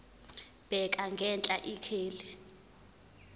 bheka ngenhla ikheli